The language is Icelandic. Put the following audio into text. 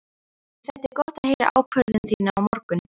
Mér þætti gott að heyra ákvörðun þína á morgun.